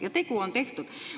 Ja tegu on tehtud.